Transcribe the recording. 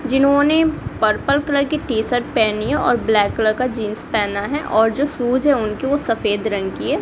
जिन्होंने purple colour के T shirt पहनी है और ब्लैक कलर का जीन्स पहना है और जो शूज है उनके सफेद रंग की है।